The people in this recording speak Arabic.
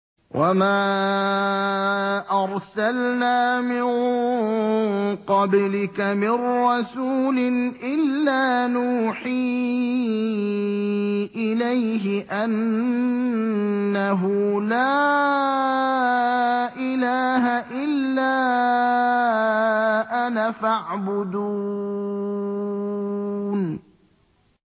وَمَا أَرْسَلْنَا مِن قَبْلِكَ مِن رَّسُولٍ إِلَّا نُوحِي إِلَيْهِ أَنَّهُ لَا إِلَٰهَ إِلَّا أَنَا فَاعْبُدُونِ